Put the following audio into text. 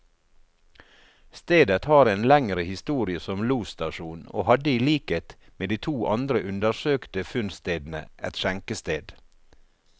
Stedet har en lengre historie som losstasjon, og hadde i likhet med de to andre undersøkte funnstedene, et skjenkested.